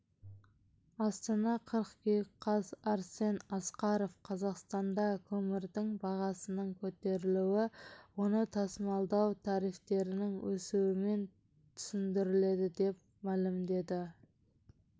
астана қыркүйек қаз арсен асқаров қазақстанда көмірдің бағасының көтерілуі оны тасымалдау тарифтерінің өсуімен түсіндіріледі деп мәлімдеді